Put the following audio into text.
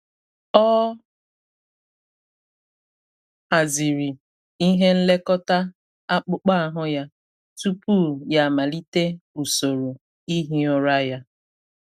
Ọ haziri ihe nlekọta akpụkpọ ahụ ya tupu ya amalite usoro ihi ụra ya.